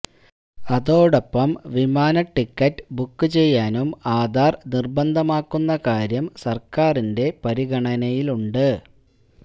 അതോടൊപ്പം വിമാന ticket book ചെയ്യാനും ആധാർ നിർബന്ധമാക്കുന്ന കാര്യം സർക്കാരിന്റെ പരിഗണനയിലുണ്ട്